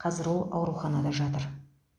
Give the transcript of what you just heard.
қазір ол ауруханада жатыр